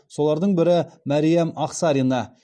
солардың бірі мәриям ақсарина